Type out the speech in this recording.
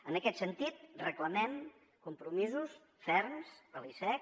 en aquest sentit reclamem compromisos ferms de l’icec